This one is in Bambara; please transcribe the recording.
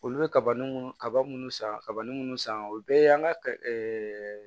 Olu bɛ kaba ni kaba minnu san kabini minnu san o bɛɛ y'an ka